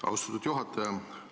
Austatud juhataja!